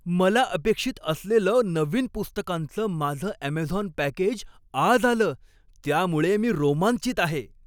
मला अपेक्षित असलेलं नवीन पुस्तकांचं माझं अमेझॉन पॅकेज आज आलं त्यामुळे मी रोमांचित आहे.